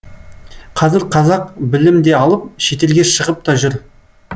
қазір қазақ білім де алып шетелге шығып та жүр